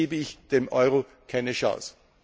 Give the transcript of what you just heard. Sonst gebe ich dem Euro keine Chance.